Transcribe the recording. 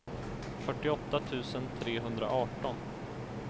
fyrtioåtta tusen trehundraarton